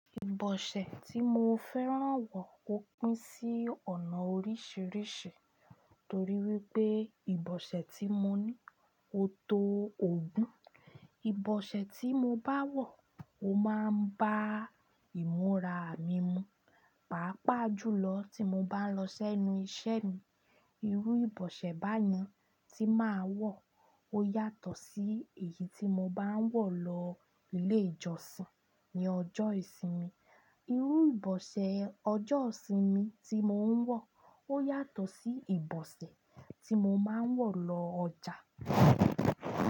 Ìbọ̀ṣẹ̀ tí mo fẹ́ràn wọ̀ ó pín sí ọ̀nà oríṣiríṣi torí wípé ìbọ̀ṣẹ̀ tí mo ní ó tó ogún. Ìbọ̀ṣẹ̀ tí mo bá wọ̀ ó máa ń bá ìmúra mi mu, pàápàá jùlọ tí mo bá ń lọ sẹ́nu iṣẹ́ mi. Irú ìbọ̀ṣẹ̀ báyìí tí màá wọ̀ ó yàtọ̀ sí èyí tí mo bá ń wọ̀ lọ ilé ìjọsìn ní ọjọ́ ìsinmi. Irú ìbọ̀ṣẹ̀ ọjọ́ ìsinmi tí mò ń wọ̀ ó yàtọ̀ sí ìbọ̀ṣẹ̀ tí mo máa ń wọ̀ lọ ọjà.